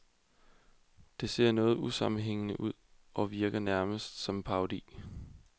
Det ser noget usammenhængende ud og virker nærmest som en parodi.